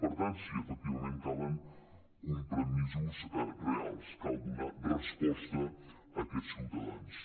per tant sí efectivament calen compromisos reals cal donar resposta a aquests ciutadans